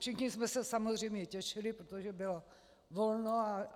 Všichni jsme se samozřejmě těšili, protože bylo volno.